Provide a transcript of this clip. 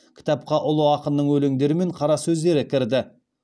кітапқа ұлы ақынның өлеңдері мен қара сөздері кірді